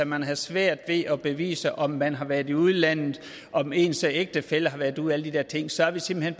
man har svært ved at bevise om man har været i udlandet om ens ægtefælle har været ude og alle de der ting så er vi simpelt